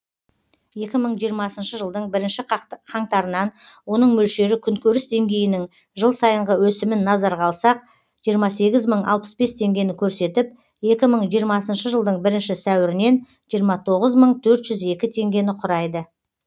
екі мың жиырмасыншы жылдың бірінші қаңтарынан оның мөлшері күнкөріс деңгейінің жыл сайынғы өсімін назарға алсақ жиырма сегіз мың алпыс бес теңгені көрсетіп екі мың жиырмасыншы жылдың бірінші сәуірінен жиырма тоғыз мың төрт жүз екі теңгені құрайды